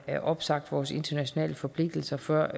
opsagt vores internationale forpligtelser før